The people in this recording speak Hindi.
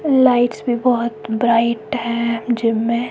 लाइट्स भी बोहोत ब्राइट है जिम में।